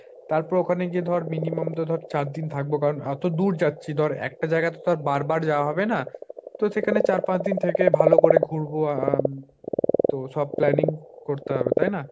তারপর ওখানে গিয়ে ধর minimum তো ধর চার দিন থাকবো, কারন এতো দূর যাচ্ছি ধর একটা জায়গায় তো আর বারবার যাওয়া হবে না, তো সেখানে চার পাঁচ দিন থেকে ভাল করে ঘুরবো। আহ তো সব planning করতে হবে তাই না।